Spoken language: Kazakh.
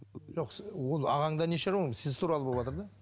жоқ ол ағаңда не шаруаң сіз туралы боватыр да